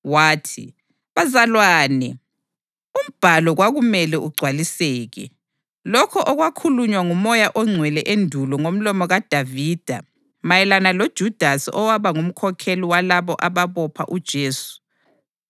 wathi, “Bazalwane, uMbhalo kwakumele ugcwaliseke, lokho okwakhulunywa nguMoya oNgcwele endulo ngomlomo kaDavida mayelana loJudasi owaba ngumkhokheli walabo ababopha uJesu.